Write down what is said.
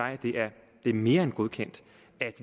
det er mere end godkendt at